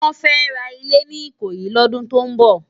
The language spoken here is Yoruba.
Wòn fè rá ilé ni Ikoyi lòdún tó n bò